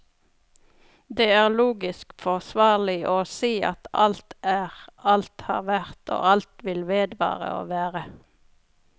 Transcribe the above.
Det er logisk forsvarlig å si at alt er, alt har vært og alt vil vedvare å være.